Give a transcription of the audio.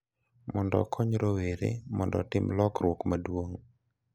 Mondo okony rowere mondo otim lokruok maduong'